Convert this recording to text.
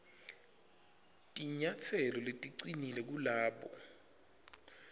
tinyatselo leticinile kulabo